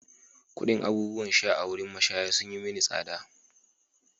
Kuɗin abubuwan sha a wurin mashaya sun yi mini tsada.